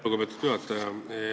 Lugupeetud juhataja!